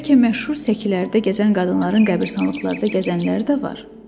Bəlkə məşhur səkilərdə gəzən qadınların qəbiristanlıqlarda gəzənləri də var?